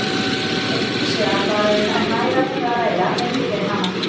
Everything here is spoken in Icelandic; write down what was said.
Ef hins vegar var um næga vinnu að ræða fengu þeir hana.